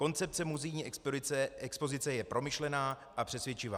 Koncepce muzejní expozice je promyšlená a přesvědčivá.